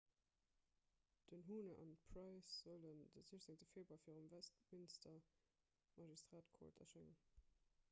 den huhne an d'pryce sollen de 16 februar virum westminster magistrate court erschéngen